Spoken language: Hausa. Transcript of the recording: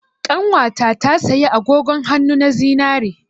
Ƙanwata ta saya agogon hannu na zinare.